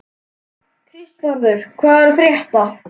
Kristvarður, hvað er að frétta?